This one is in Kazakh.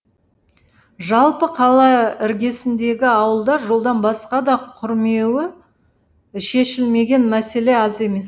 жалпы қала іргесіндегі ауылда жолдан басқа да құрмеуі шешілмеген мәселе аз емес